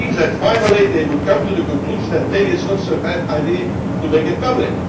Now it seems that finally they have come to the conclusion that maybe it is not such a bad idea to make it public.